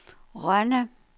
Rønde